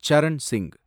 Charan Singh